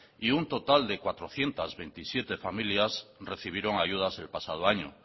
y un total de cuatrocientos veintisiete familias recibieron ayudas el pasado año